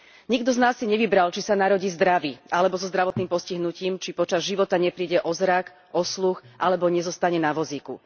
Nikto z nás si nevybral, či sa narodí zdravý alebo so zdravotným postihnutím, či počas života nepríde o zrak, o sluch, alebo nezostane na vozíku.